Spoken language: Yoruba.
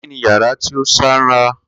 Kini yara ti o sanra?